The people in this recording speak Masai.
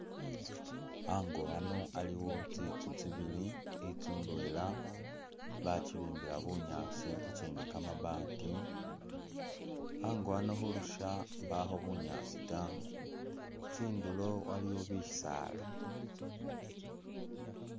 Ango ano aliwo tsitsu tsibiili itsu indweela bakyibimbila bunyaasi ikyindi kamabaati , ango ano khulusha imbakho bunyaasi taa tsindulo aliwo bisaala